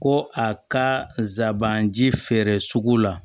Ko a ka sabanan ji feere sugu la